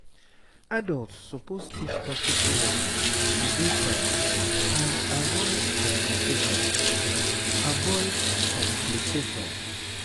adults suppose teach hospitu workers to dey fine and avoid complications avoid complications